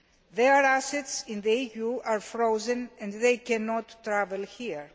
Their assets in the EU are frozen and they cannot travel here.